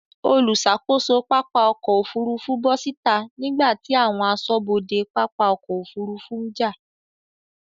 Olùṣàkóso pápá ọkọ̀ Òfurufú bọ́ síta nígbàtí àwọn aṣọ́bodè pápá ọkọ̀ Òfurufú ń jà.